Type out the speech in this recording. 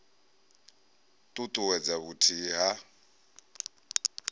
t ut uwedza vhuthihi ha